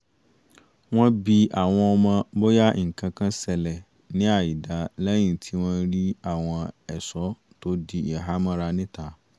wọ́n bi àwọn ọmọ bóyá nǹkankan ṣẹlẹ̀ ní àìda lẹ́yìn tí wọ́n rí àwọn ẹ̀ṣọ́ tó di ìhàmọ́ra níta